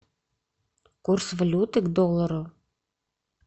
курс валюты к доллару